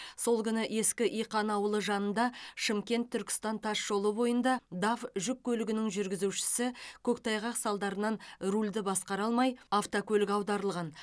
сол күні ескі иқан ауылы жанында шымкент түркістан тасжолы бойында даф жүк көлігінің жүргізушісі көктайғақ салдарынан рульді басқара алмай автокөлік аударылған